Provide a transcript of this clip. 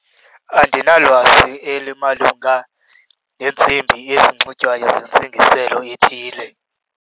Andinalwazi elimalunga neentsimbi ezinxitywayo nentsingiselo ethile.